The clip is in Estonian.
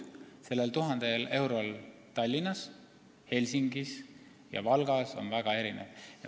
Selle 1000 euro ostujõud on Tallinnas, Helsingis ja Valgas väga erinev.